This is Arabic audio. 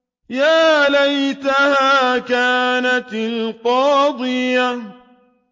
يَا لَيْتَهَا كَانَتِ الْقَاضِيَةَ